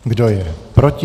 Kdo je proti?